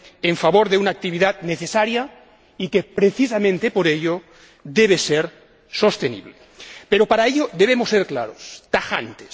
en favor de una actividad necesaria y que, precisamente por ello, debe ser sostenible. Pero para ello debemos ser claros, tajantes.